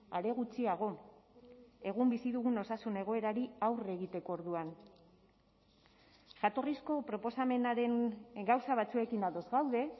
are gutxiago egun bizi dugun osasun egoerari aurre egiteko orduan jatorrizko proposamenaren gauza batzuekin ados gaude